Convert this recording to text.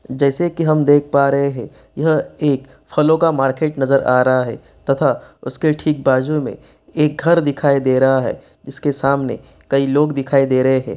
जैसी की हम देख पा रहे हैं यह एक फलों का मार्केट नजर आ रहा है तथा उसके ठीक बाजू में एक घर दिखाई दे रहा है जिसके सामने कई लोग दिखाई दे रहे हैं।